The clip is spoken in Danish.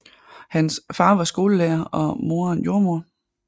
Hans far var skolelærer og moderen jordmoder